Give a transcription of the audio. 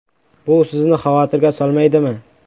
Bu sizni xavotirga solmaydimi?